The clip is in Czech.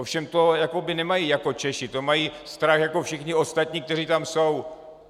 Ale to nemají jako Češi, to mají strach jako všichni ostatní, kteří tam jsou.